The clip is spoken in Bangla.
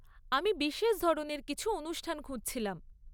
আমি বিশেষ ধরনের কিছু অনুষ্ঠান খুঁজছিলাম।